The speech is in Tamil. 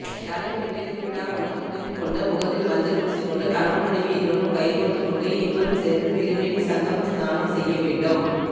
தலைமுடிபிரிந்து விடா வண்ணம் முடிந்துகொண்டு முகத்தில் மஞ்சள்பூசிக்கொண்டு கணவன் மனைவிஇருவரும் கைகோர்த்து கொண்டுஇருவரும் சேர்ந்து திரிவேணிசங்கம ஸ்நானம் செய்ய வேண்டும்